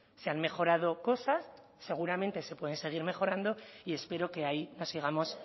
se han mejorado cosas seguramente se pueden seguir mejorando y espero que ahí nos sigamos